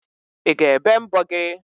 I ga-ebe mbọ gị?